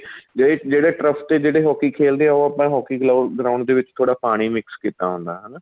ਜਿਹੜੇ ਜਿਹੜੇ trust ਏ ਜਿਹੜੇ hockey ਖੇਲਦੇ ਏ ਉਹ ਆਪਣਾ hockey ground ਦੇ ਵਿੱਚ ਥੋੜਾ ਪਾਣੀ mix ਕੀਤਾ ਹੁੰਦਾ ਹਨਾ